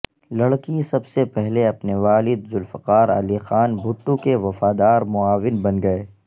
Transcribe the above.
لڑکی سب سے پہلے اپنے والد ذوالفقار علی خان بھٹو کے وفادار معاون بن گئے